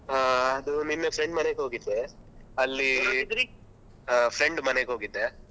ಆ ಅದು ನಿನ್ನೆ friend ಮನೆಗೆ ಹೋಗಿದ್ದೆ. ಆ friend ಮನೆಗೆ ಹೋಗಿದ್ದೆ.